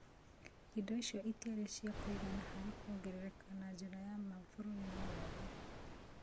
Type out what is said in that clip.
Indo icio itiarĩ cia kũigana harĩ kũongerereka na njĩra ya ma bũrũri-inĩ wothe.